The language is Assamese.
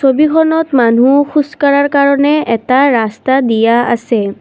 ছবিখনত মানুহ খোজ কাঢ়াৰ কাৰণে এটা ৰাস্তা দিয়া আছে।